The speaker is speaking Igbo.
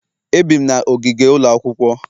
Ebi'm na ogige ụlọ akwụkwọ